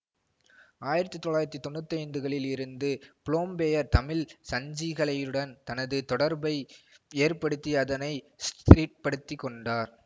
ஆயிரத்தி தொள்ளாயிரத்தி தொன்னூற்தி ஐந்துகளில் இருந்து புலோம்பெயர் தமிழ் சஞ்சிகளையுடன் தனது தொடர்பை ஏற்படுத்தி அதனை ஸ்திரிப்படுத்திக் கொண்டார்